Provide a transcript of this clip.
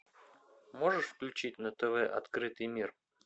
можешь включить на тв открытый мир